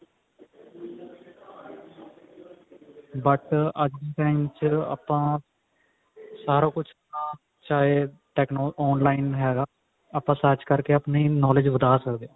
but ਅੱਜ ਦੇ time ਚ ਆਪਾਂ ਸਾਰਾ ਕੁਛ ਆਪਣਾ ਚਾਹੇ techno online ਹੈਗਾ ਆਪਾਂ search ਕਰਕੇ ਆਪਣੀ knowledge ਵਧਾ ਸਕਦੇ ਹਾਂ